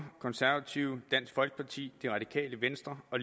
konservative dansk folkeparti det radikale venstre og